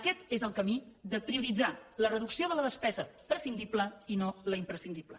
aquest és el camí de prioritzar la reducció de la despesa prescindible i no la imprescindible